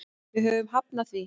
Við höfum hafnað því.